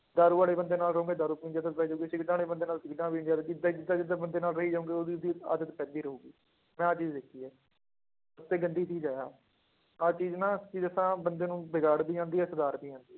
ਦਾਰੂ ਵਾਲੇ ਬੰਦੇ ਨਾਲ ਰਹੋਗੇ ਦਾਰੂ ਪੀਣ ਦੀ ਆਦਤ ਪੈ ਜਾਊਗੀ, ਸਿਗਰਟਾਂ ਵਾਲੇ ਬੰਦੇ ਨਾਲ ਸਿਗਰਟਾਂ ਪੀਣ ਦੀ ਆਦਤ ਏਦਾਂ ਜਿੱਦਾਂ ਜਿੱਦਾਂ ਬੰਦੇ ਨਾਲ ਰਹੀ ਜਾਓਗੇ ਉਹਦੀ ਉਹਦੀ ਆਦਤ ਪੈਂਦੀ ਰਹੇਗੀ, ਮੈਂ ਆਹ ਚੀਜ਼ ਦੇਖੀ ਹੈ ਤੇ ਗੰਦੀ ਚੀਜ਼ ਹੈ ਆਹ, ਆਹ ਚੀਜ਼ ਨਾ ਕੀ ਦੱਸਾਂ ਬੰਦੇ ਨੂੰ ਵਿਗਾੜ ਵੀ ਜਾਂਦੀ ਹੈ ਸੁਧਾਰ ਵੀ ਜਾਂਦੀ ਹੈ,